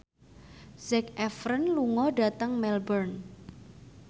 Zac Efron lunga dhateng Melbourne